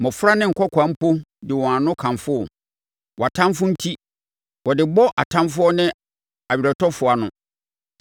mmɔfra ne nkɔkoaa mpo de wɔn ano kamfo wo, wʼatamfoɔ nti; na wode bɔ atamfoɔ ne weretɔfoɔ ano.